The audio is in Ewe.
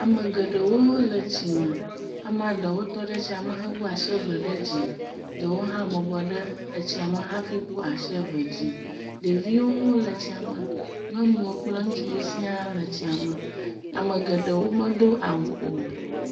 Ame geɖewo le tsi me. Amea ɖewo tɔ ɖe tsia me hewu asi ve ɖe dzi. Ɖewo hã bɔbɔ ɖe etsia me hafi wu asi ve dzi. Ɖeviwo hã le tsia me. Nyɔnuwo kple ŋutsuwo sia le ytsia me. ame geɖewo medo awu o.